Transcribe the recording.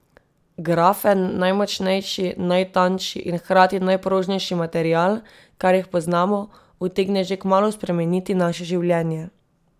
Grafen, najmočnejši, najtanjši in hkrati najprožnejši material, kar jih poznamo, utegne že kmalu spremeniti naše življenje.